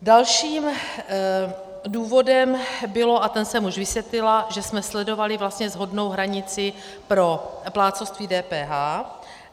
Dalším důvodem bylo, a ten jsem už vysvětlila, že jsme sledovali vlastně shodnou hranici pro plátcovství DPH.